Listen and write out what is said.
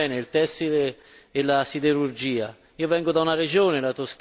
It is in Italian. Cito solo due esempi che conosco bene il tessile e la siderurgia.